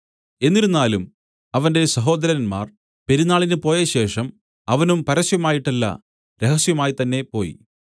എന്നിരുന്നാലും അവന്റെ സഹോദരന്മാർ പെരുന്നാളിന് പോയശേഷം അവനും പരസ്യമായിട്ടല്ല രഹസ്യമായി തന്നേ പോയി